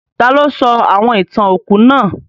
Taló sọ àwon ìtàn òkú náà?